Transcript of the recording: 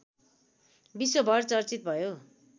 विश्वभर चर्चित भयो